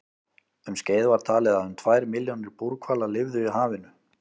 Um skeið var talið að um tvær milljónir búrhvala lifðu í hafinu.